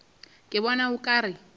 ke bona o ka re